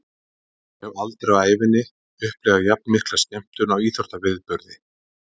Ég hef aldrei á ævinni upplifað jafnmikla skemmtun á íþróttaviðburði.